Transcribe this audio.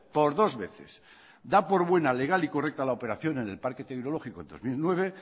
por dos veces da por buena legal y correcta la operación en el parque tecnológico en dos mil nueve